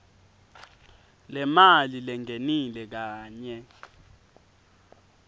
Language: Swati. lemali lengenile kanye